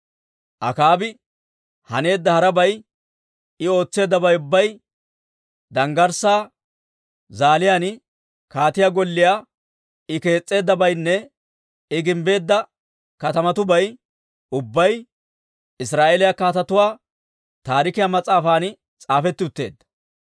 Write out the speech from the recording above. Akaabi haneedda harabay, I ootseeddabay ubbay, danggarssaa zaaliyaan kaatiyaa golliyaa I kees's'eeddabaynne I gimbbeedda katamatuwaabay ubbay Israa'eeliyaa Kaatetuu Taarikiyaa mas'aafan s'aafetti utteedda.